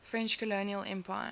french colonial empire